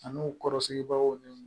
Ani u kɔrɔsigibagaw ni